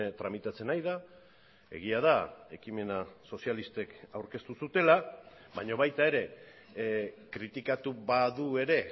tramitatzen ari da egia da ekimena sozialistek aurkeztu zutela baina baita ere kritikatu badu ere